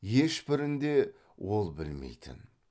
ешбірін де ол білмейтін